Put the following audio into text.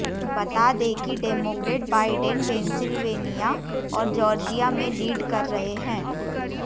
बता दें कि डेमोक्रेट बाइडेन पेंसिल्वेनिया और जॉर्जिया में लीड कर रहे हैं